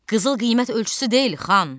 Qızıl qiymət ölçüsü deyil, xan!